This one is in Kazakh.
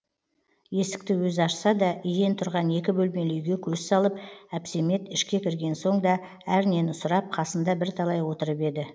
есікті өзі ашса да иен тұрған екі бөлмелі үйге көз салып әпсемет ішке кірген соң да әрнені сұрап қасында бірталай отырып еді